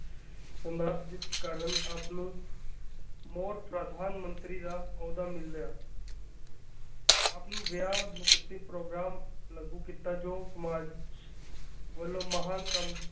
ਕਰਨ ਆਪ ਨੂੰ ਮੋਸਟ ਪ੍ਰਧਾਨ ਮੰਤਰੀ ਦਾ ਅਹੁਦਾ ਮਿਲਿਆ ਆਪ ਨੂੰ ਵਿਆਹ ਮੁਕਤੀ ਪੋ੍ਗਰਾਮ ਲਾਗੂ ਕੀਤਾ ਜੋ ਸਮਾਜ ਵਲੋਂ ਮਹਾਨ ਕੰਮ ਹੁੰਦਾ।